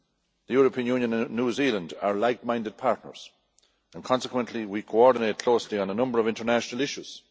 The European Union and New Zealand are like minded partners, and consequently we coordinate closely on a number of international issues.